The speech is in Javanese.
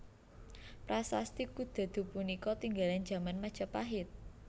Prasasti Kudadu punika tinggalan jaman Majapahit